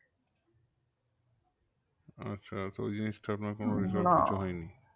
আচেহ তো ওই জিনিসটা আপনার কোনো হয়নি?